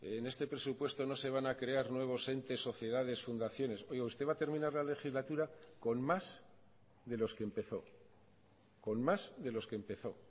en este presupuesto no se van a crear nuevos entes sociedades fundaciones oiga usted va a terminar la legislatura con más de los que empezó con más de los que empezó